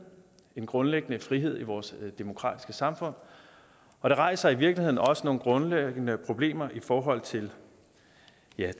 en grundlæggende frihed i vores demokratiske samfund og det rejser i virkeligheden også nogle grundlæggende problemer i forhold til